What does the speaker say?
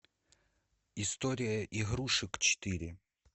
история игрушек четыре